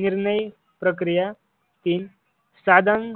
निर्णय प्रक्रिया तीन साधन